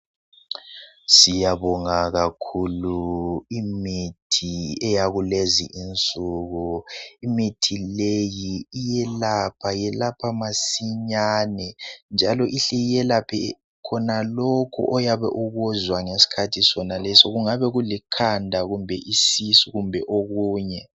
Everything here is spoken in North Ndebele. Siyabonga kakhulu imithi eyakulezi insuku imithi leyi iyelapha, yelapha masinyane njalo ihle yelaphe khonalokho oyabe ukuzwa ngesikhathi soneso kungabe kulikhanda kumbe isisu kumbe okunye.